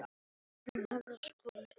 Ég skildi hann mæta vel.